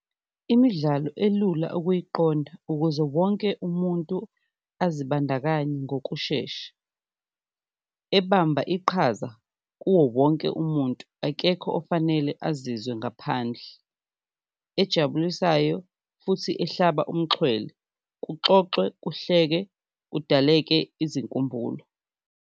Imidlalo elula ukuyiqonda ukuze wonke umuntu azibandakanye ngokushesha, ebamba iqhaza kuwo wonke umuntu akekho ofanele azizwe ngaphandle, ejabulisayo futhi ehlaba umxhwele, kuxoxwe kuhleke, kudaleke izinkumbulo.